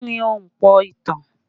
Kí ni Ahunpọ̀ ìtàn?